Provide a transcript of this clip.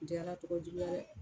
N tɛ Ala tɔgɔ juguya dɛ